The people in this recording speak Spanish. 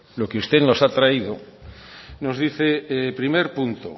lo que usted nos ha traído nos dice primer punto